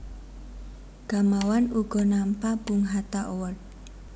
Gamawan uga nampa Bung Hatta Award